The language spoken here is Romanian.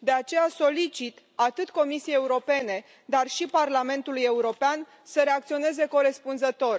De aceea solicit atât Comisiei Europene, dar și Parlamentului European să reacționeze corespunzător.